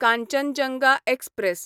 Kanchenjunga express